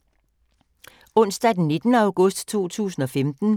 Onsdag d. 19. august 2015